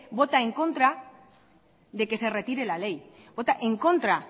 vota en contra de que se retire la ley vota en contra